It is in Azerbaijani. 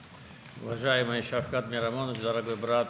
Hörmətli Şavkat Miramonoviç, əziz qardaş.